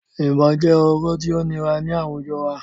Ibọn jẹ ọrọ ti o nira ni awujọ wa